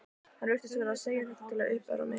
Hann virtist vera að segja þetta til að uppörva mig.